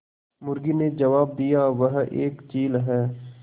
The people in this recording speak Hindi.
मुर्गी ने जबाब दिया वह एक चील है